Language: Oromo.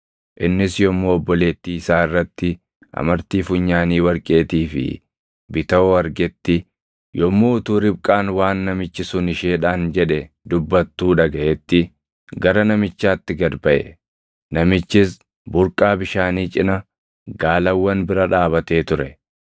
Innis yommuu obboleettii isaa irratti amartii funyaanii warqeetii fi bitawoo argetti, yommuu utuu Ribqaan waan namichi sun isheedhaan jedhe dubbattuu dhagaʼetti, gara namichaatti gad baʼe; namichis burqaa bishaanii cina gaalawwan bira dhaabatee ture.